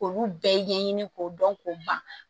K'olu bɛɛ ɲɛɲini k'o dɔn k'o ban